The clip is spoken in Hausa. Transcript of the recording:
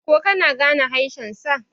ko kana gane haeshensa!